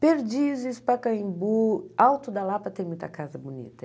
Perdizes, Pacaembu, Alto da Lapa tem muita casa bonita.